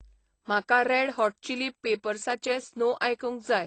म्हाका red hot chilli पेपरसाचें snow आयकूंक जाय